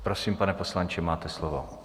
Prosím, pane poslanče, máte slovo.